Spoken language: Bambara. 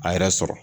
A yɛrɛ sɔrɔ